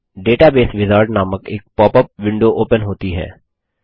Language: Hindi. डेटाबेस विजार्ड नामक एक पॉप अप विंडो ओपन होती है